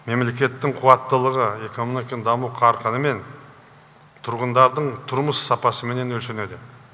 мемлекеттің қуаттылығы экономиканың даму қарқынымен тұрғындардың тұрмыс сапасыменен өлшенеді